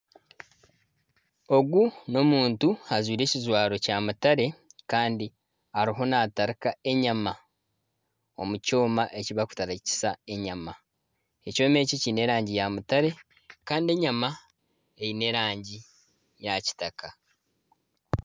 Ogu n'omuntu ajwaire ebijwaro kya mutare Kandi ariho natarika enyama, omukyooma ekibarikutarikisa enyama ,ekyoma eki kyiine erangi ya mutare Kandi enyama eine erangi ya kitaka.